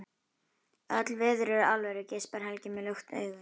Öll veður eru alvöru, geispar Helgi með lukt augu.